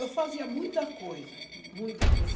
Eu fazia muita coisa, muita coisa.